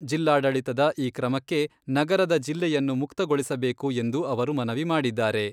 ಜಿಲ್ಲಾಡಳಿತದ ಈ ಕ್ರಮಕ್ಕೆ ನಗರದ ಜಿಲ್ಲೆಯನ್ನು ಮುಕ್ತಗೊಳಿಸಬೇಕು ಎಂದು ಅವರು ಮನವಿ ಮಾಡಿದ್ದಾರೆ.